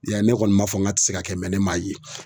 Ya ne kɔni m'a fɔ ŋ'a ti se ka kɛ ne m'a ye.